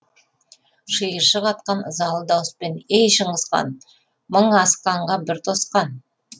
шиыршық атқан ызалы дауыспен ей шыңғыс хан мың асқанға бір тосқан